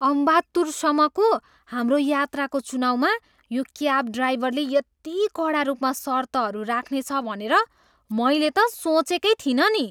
अम्बात्तुरसम्मको हाम्रो यात्राको चुनाउमा यो क्याब ड्राइभरले यदि कडा रूपमा सर्तहरू राख्नेछ भनेर मैले त सोचेकै थिइनँ नि।